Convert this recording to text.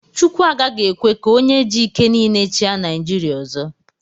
Chukwu agaghị ekwe ka onye ji ike niile chịa Naijiria ọzọ.